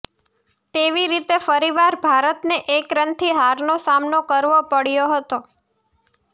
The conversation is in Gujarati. તેવી રીતે ફરીવાર ભારતને એક રનથી હારનો સામનો કરવો પડ્યો હતો